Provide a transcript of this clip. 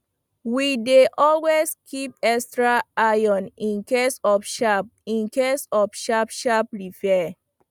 we dey always keep extra iron incase of sharp incase of sharp sharp repair